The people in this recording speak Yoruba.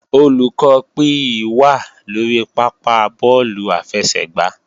Olùkọ́ PE wà lórí pápá bọ́ọ̀lù àfẹsẹ̀gbá